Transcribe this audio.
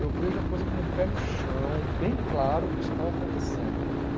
Eu vejo a coisa como um pé no chão, bem claro o que está acontecendo.